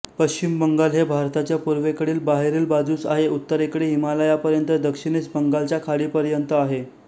पश्चिम बंगाल हे भारताच्या पूर्वेकडील बाहेरील बाजूस आहे उत्तरेकडे हिमालयापर्यंत दक्षिणेस बंगालच्या खाडीपर्यंत आहेत